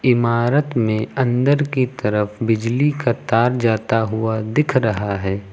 इमारत में अंदर की तरफ बिजली का तार जाता हुआ दिख रहा है।